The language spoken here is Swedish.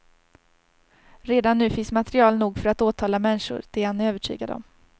Redan nu finns material nog för att åtala människor, det är han övertygad om.